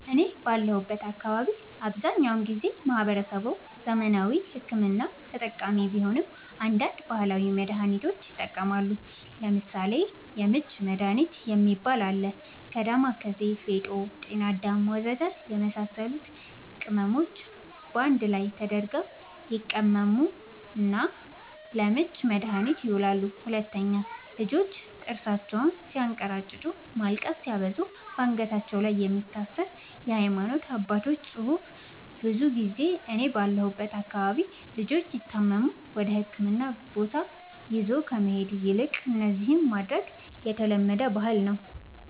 እኔ ባለሁበት አካባቢ አብዛኛውን ጊዜ ማህበረሰቡ ዘመናዊ ሕክምና ተጠቃሚ ቢሆንም አንዳንድ ባህላዊ መድሃኒቶችንም ይጠቀማሉ ለምሳሌ:- የምች መድሃኒት የሚባል አለ ከ ዳማከሲ ፌጦ ጤናአዳም ወዘተ የመሳሰሉት ቅመሞች ባንድ ላይ ተደርገው ይቀመሙና ለምች መድኃኒትነት ይውላሉ 2, ልጆች ጥርሳቸውን ስያንከራጭጩ ማልቀስ ሲያበዙ ባንገታቸው ላይ የሚታሰር የሃይማኖት አባቶች ፅሁፍ ብዙ ጊዜ እኔ ባለሁበት አካባቢ ልጆች ሲታመሙ ወደህክምና ቦታ ይዞ ከመሄድ ይልቅ እነዚህን ማድረግ የተለመደ ባህል ነዉ